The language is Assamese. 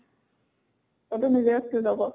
এইটো নিজে যাব।